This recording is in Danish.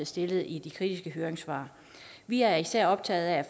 stillet i de kritiske høringssvar vi er især optaget af at